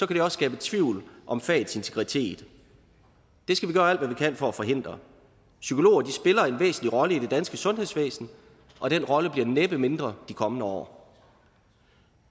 det også skabe tvivl om fagets integritet det skal vi gøre alt hvad vi kan for at forhindre psykologer spiller en væsentlig rolle i det danske sundhedsvæsen og den rolle bliver næppe mindre de kommende år